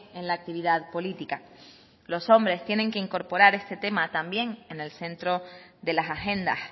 en la actividad política los hombres tienen que incorporar este tema en el centro de las agendas